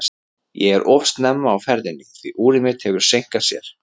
Ég er of snemma á ferðinni, því úrið mitt hefur seinkað sér.